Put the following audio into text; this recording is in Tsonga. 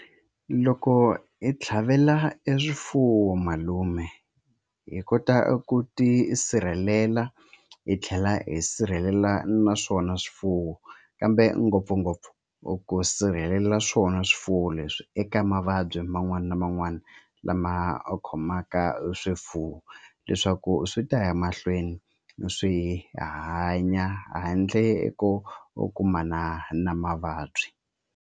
Loko hi tlhavela e swifuwo malume hi kota ku tisirhelela hi tlhela hi sirhelela naswona swifuwo kambe ngopfungopfu i ku sirhelela swona swifuwo leswi eka mavabyi man'wani na man'wani lama a khomaka swifuwo leswaku swi ta ya mahlweni swi hanya handle ko kumana na mavabyi.